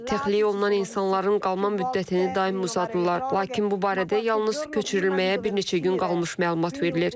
Texliklərdən insanların qalma müddətini daim uzadırlar, lakin bu barədə yalnız köçürülməyə bir neçə gün qalmış məlumat verilir.